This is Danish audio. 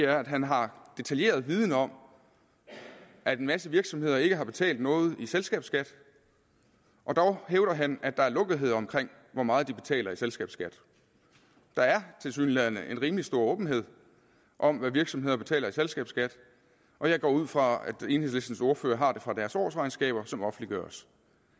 at han har detaljeret viden om at en masse virksomheder ikke har betalt noget i selskabsskat og dog hævder han at der er lukkethed omkring hvor meget de betaler i selskabsskat der er tilsyneladende en rimelig stor åbenhed om hvad virksomheder betaler i selskabsskat og jeg går ud fra at enhedslistens ordfører har det fra deres årsregnskaber som offentliggøres